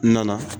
N nana